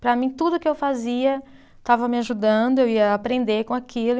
Para mim, tudo o que eu fazia estava me ajudando, eu ia aprender com aquilo.